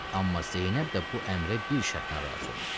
Amma Zeynəb də bu əmrə bir şərtlə razı oldu.